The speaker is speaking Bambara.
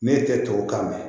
Ne tɛ tubabu kan mɛn